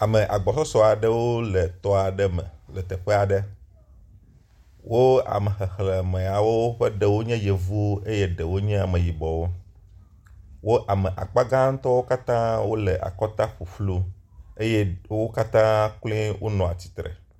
Ame agbɔsɔs aɖewo le tɔ aɖe me le teƒe aɖe. wo ame xexlemeyawo ƒe ɖewo nye yevuwo eye ɖewo nye ameyibɔwo. Wo ame akpagãtɔwo katã wo le akɔta ƒuƒlu eyeɖe wo katã kloe wonɔ atsitre.